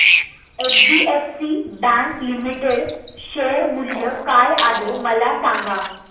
HDFC bank limited share मूल्य काय आहे मला सांगा